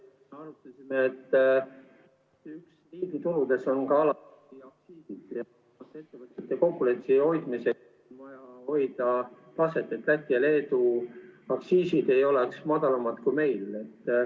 Me arutasime, et ... oludes on ka alati ... ettevõtete konkurentsis hoidmiseks vaja hoida taset, et Läti ja Leedu aktsiisid ei oleks madalamad kui meil.